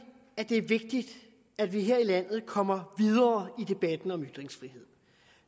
at det er vigtigt at vi her i landet kommer videre i debatten om ytringsfrihed